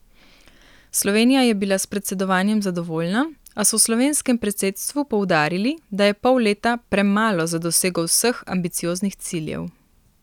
Slovenija je bila s predsedovanjem zadovoljna, a so v slovenskem predsedstvu poudarili, da je pol leta premalo za dosego vseh ambicioznih ciljev.